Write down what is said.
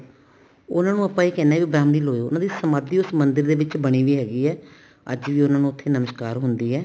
ਉਹਨਾ ਨੂੰ ਆਪਾਂ ਇਹ ਕਹਿੰਦੇ ਹਾਂ ਬ੍ਰਹਮ ਲੀਨ ਹੋਏ ਉਹਨਾ ਦੀ ਸਮਾਧੀ ਉਸ ਮੰਦਿਰ ਵਿੱਚ ਬਣੀ ਵੀ ਹੈਗੀ ਹੈ ਅੱਜ ਵੀ ਉਹਨਾ ਨੂੰ ਉੱਥੇ ਨਮਸ਼ਕਾਰ ਹੁੰਦੀ ਹੈ